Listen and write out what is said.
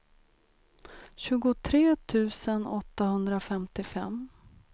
tjugotre tusen åttahundrafemtiofem